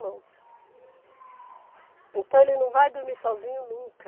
Então ele não vai dormir sozinho nunca.